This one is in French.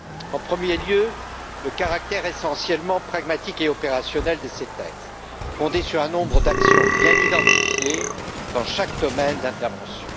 En premier lieu, le caractère essentiellement pragmatique et opérationnel de ces textes fondés sur un nombre d'actions bien identifiées dans chaque domaine d'intervention.